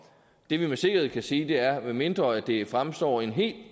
det vi med sikkerhed kan sige er at medmindre det fremstår i en helt